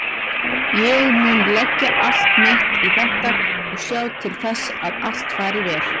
Ég mun leggja allt mitt í þetta og sjá til þess að allt fari vel.